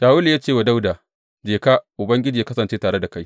Shawulu ya ce wa Dawuda, Je ka, Ubangiji yă kasance tare da kai.